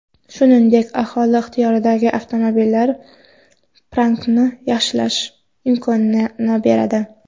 Shuningdek, aholi ixtiyoridagi avtomobillar parkini yaxshilash imkonini beradi.